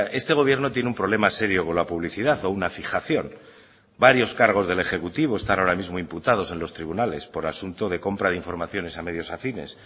este gobierno tiene un problema serio con la publicidad o una fijación varios cargos del ejecutivo están ahora mismo imputados en los tribunales por asunto de compra de informaciones a medios afines